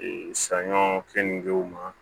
saɲɔ keningew ma